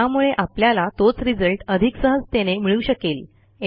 त्यामुळे आपल्याला तोच रिझल्ट अधिक सहजतेने मिळू शकेल